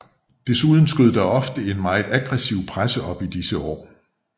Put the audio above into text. Desuden skød der en ofte meget aggressiv presse op i disse år